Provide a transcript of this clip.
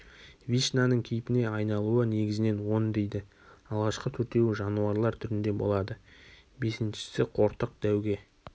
вишнаның кейпіне айналуы негізінен он дейді алғашқы төртеуі жануарлар түрінде болады бесіншісі қортық дәуге